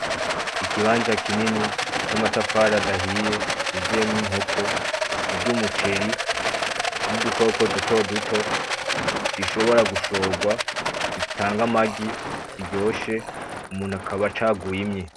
Ikibanza kinini c'amatafari adahiye c'uzuyemwo inkoko zirya umuceri, n'udukoko dutoduto, zishobora gushorwa, zitanga amagi , ziryoshe umuntu akaba acaguye imwe.